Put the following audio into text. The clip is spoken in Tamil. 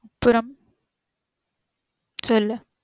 அப்பறம் சொல்லு